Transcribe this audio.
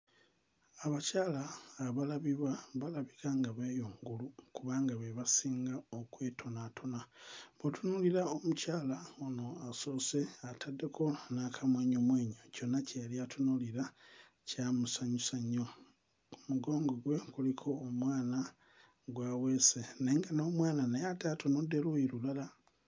Abakayala abalabibwa balabika nga b'eyo ngulu kuba be basinga okwetonaatona bw'otunuulira omukyala ono asoose ataddeko n'akamwenyumwenyu kyonna kye yali atunuulira kyamusanyusa nnyo. Ku mugongo gwe kuliko omwana gw'aweese naye nga n'omwana naye ate atunudde luuyi lulala.